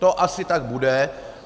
To asi tak bude.